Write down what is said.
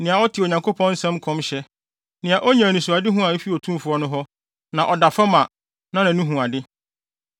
nea ɔte Onyankopɔn nsɛm nkɔmhyɛ; nea onya anisoadehu a efi Otumfo no hɔ; na ɔda fam, a nʼani hu ade: